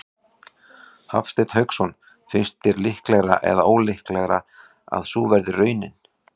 Hafsteinn Hauksson: Finnst þér líklegra eða ólíklegra að sú verði raunin?